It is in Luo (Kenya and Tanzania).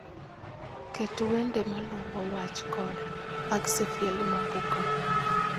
Ket wende maluwo wach Koda mag Sifaeli Mwabuka